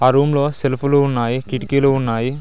ఆ రూమ్ లో సెల్పులు ఉన్నాయి కిటికీలు ఉన్నాయి.